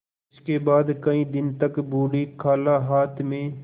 इसके बाद कई दिन तक बूढ़ी खाला हाथ में